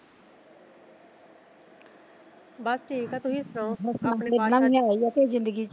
ਬਸ ਠੀਕ ਐ ਤੁਸੀਂ ਸੁਣਾਓ